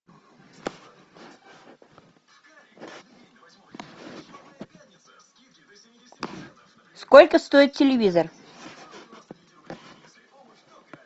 сколько стоит телевизор